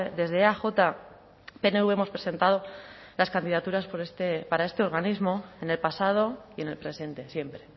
desde eaj pnv hemos presentado las candidaturas para este organismo en el pasado y en el presente siempre